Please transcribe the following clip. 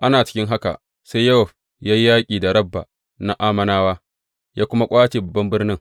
Ana cikin haka, sai Yowab ya yi yaƙi da Rabba na Ammonawa, ya kuma ƙwace babban birnin.